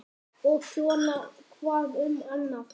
Og svona hvað um annað: